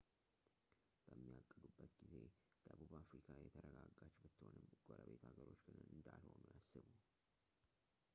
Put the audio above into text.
በሚያቅዱበት ጊዜ ደቡብ አፍሪካ የተረጋጋች ብትሆንም ጎረቤት ሀገሮች ግን እንዳልሆኑ ያስቡ